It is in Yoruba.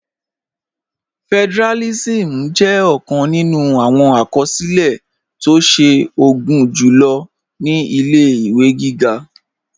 Federalism jẹ ọkan nínú awọn akọsilẹ̀ tó ṣe o gunjulo ni ilẹ̀-iwe gígá.